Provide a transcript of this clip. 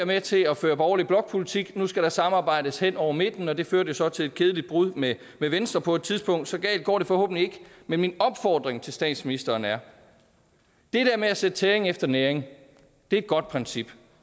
med til at føre borgerlig blokpolitik nu skal der samarbejdes hen over midten det førte så til et kedeligt brud med venstre på et tidspunkt så galt går det forhåbentlig ikke men min opfordring til statsministeren er det med at sætte tæring efter næring er et godt princip